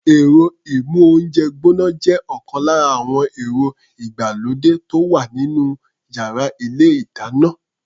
Ẹ̀rọ-ìmóhúnjẹ gbọ́ná jẹ́ ọ̀kan lára àwọn ẹ̀rọ ìgbàlódé tó wà nínú yàrá ilé-ìdáná.